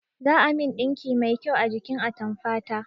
Za a min ɗinki mai kyau a jikin atamfa ta